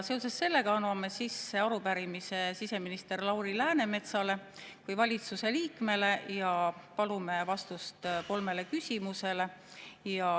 Seoses sellega anname sisse arupärimise siseminister Lauri Läänemetsale kui valitsuse liikmele ja palume vastust kolmele küsimusele.